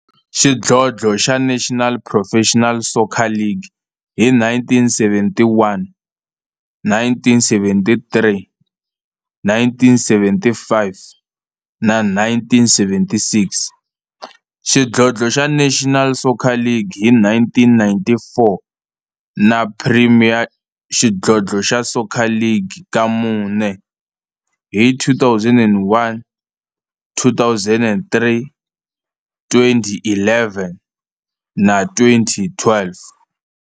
xidlodlo xa National Professional Soccer League hi 1971, 1973, 1975 na 1976, xidlodlo xa National Soccer League hi 1994, na Premier Xidlodlo xa Soccer League ka mune, hi 2001, 2003, 2011 na 2012.